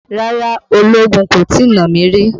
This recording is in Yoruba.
Rárá ológun kò tí nà mí rí.